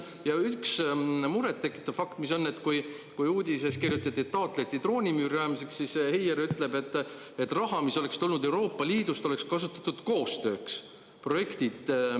Ja üks murettekitav fakt, mis on, et kui uudises kirjutati, et taotleti droonimüüri rajamiseks, siis Heier ütleb, et raha, mis oleks tulnud Euroopa Liidust, oleks kasutatud koostööks.